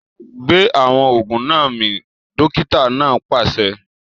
Gbé awọn oògùn náà mì! dókítà náà pàṣẹ